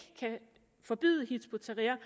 forbyde hizb ut tahrir